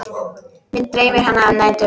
Mig dreymir hana um nætur.